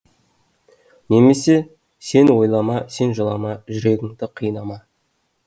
немесе сен ойлама сен жылама жүрегіңді қинама